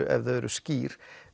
ef þau eru skýr